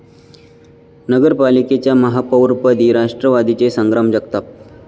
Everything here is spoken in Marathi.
नगर पालिकेच्या महापौरपदी राष्ट्रवादीचे संग्राम जगताप